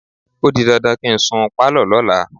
O di dandan kí n sun pálọ̀ lọ́la.